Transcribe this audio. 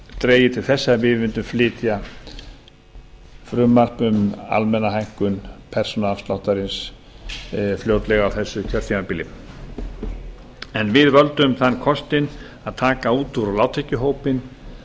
dregið til þess að við mundum flytja frumvarp um almenna hækkun persónuafsláttarins fljótlega á þessu kjörtímabili við völdum þann kostinn að taka út úr lágtekjuhópinn